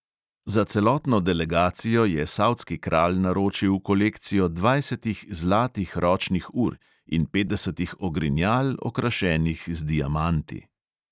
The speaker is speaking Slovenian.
Za celotno delegacijo je savdski kralj naročil kolekcijo dvajsetih zlatih ročnih ur in petdesetih ogrinjal, okrašenih z diamanti.